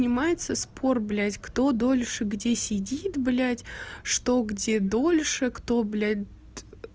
принимается спорт бляди кто дольше где сидит бляди что где дольше кто блядь